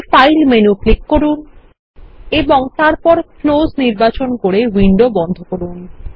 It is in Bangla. উপরে ফাইল মেনু ক্লিক করুন এবং তারপর ক্লোজ নির্বাচন করে উইন্ডো বন্ধ করুন